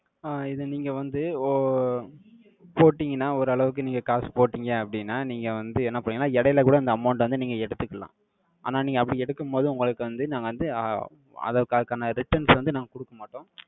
ஆஹ் இதை நீங்க வந்து, ஓ~, போட்டீங்கன்னா, ஓரளவுக்கு நீங்க காசு போட்டீங்க அப்படின்னா, நீங்க வந்து என்ன பண்ணீங்கன்னா, இடையில கூட இந்த amount அ வந்து, நீங்க எடுத்துக்கலாம். ஆனா, நீங்க அப்படி எடுக்கும்போது, உங்களுக்கு வந்து, நாங்க வந்து, ஆஹ் அதற் அதற்கான returns வந்து, நாங்க குடுக்க மாட்டோம்.